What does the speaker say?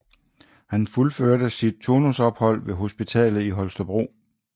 Han fuldførte sit turnusophold ved hospitalet i Holstebro